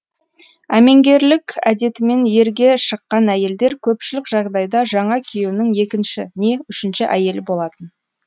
әмеңгерлік әдетімен ерге шыққан әйелдер көпшілік жағдайда жаңа күйеуінің екінші не үшінші әйелі болатын